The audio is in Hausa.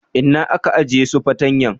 Inna ka ajie su fatanyan?